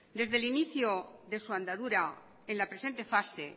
desde el inicio de su andadura en la presente fase